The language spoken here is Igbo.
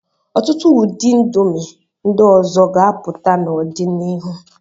Ọtụtụ ụdị indomi ndị ọzọ ga-apụta n'ọdịnihu.